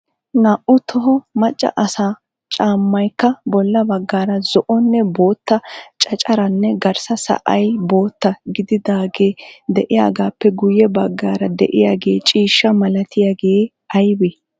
Naa"u toho macca asaa caammay ayokka bolla baggaara zo"onne bootta cacaraynne garssa sa"ay bootta gididaagee diyaagaappe guye baggaara de'iyaagee ciishshaa malatiyaagee aybee?